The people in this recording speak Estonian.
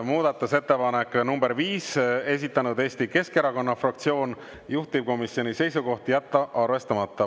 Muudatusettepanek nr 5, esitanud Eesti Keskerakonna fraktsioon, juhtivkomisjoni seisukoht: jätta arvestamata.